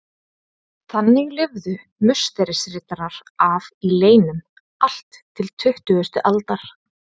Þannig lifðu Musterisriddarar af í leynum allt til tuttugustu aldar.